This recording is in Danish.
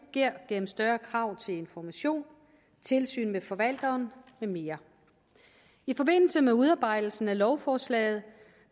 gennem større krav til information tilsyn med forvalteren med mere i forbindelse med udarbejdelsen af lovforslaget